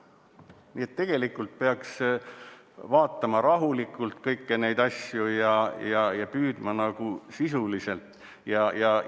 Nii et tegelikult peaks vaatama rahulikult kõiki neid asju ja püüdma sisuliselt.